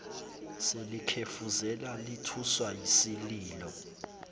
selikhefuzela lithuswa yisililo